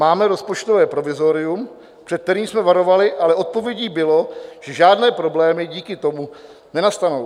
Máme rozpočtové provizorium, před kterým jsme varovali, ale odpovědí bylo, že žádné problémy díky tomu nenastanou.